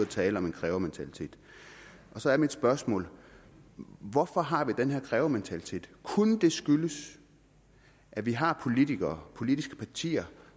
tale om en krævementalitet og så er mit spørgsmål hvorfor har vi den her krævementalitet kunne det skyldes at vi har politikere og politiske partier